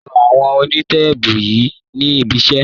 Lo ìwọ̀n onítéèpù yẹn ní ibiṣé.